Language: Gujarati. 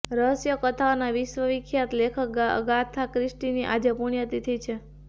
રહસ્ય કથાઓના વિશ્વખ્યાત લેખક આગાથા ક્રિસ્ટીની આજે પુણ્યતિથિ છે